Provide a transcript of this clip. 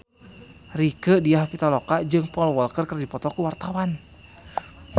Rieke Diah Pitaloka jeung Paul Walker keur dipoto ku wartawan